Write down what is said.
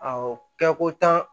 Awɔ kɛ ko tan